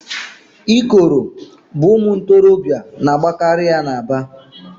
Ikoro bụ ụmụ ntorobịa na-agbakari n'Aba.